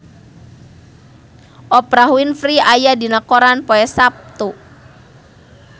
Oprah Winfrey aya dina koran poe Saptu